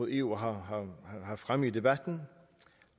eu har haft fremme i debatten